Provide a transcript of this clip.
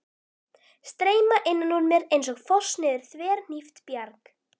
Streyma innan úr mér einsog foss niður þverhnípt bjarg.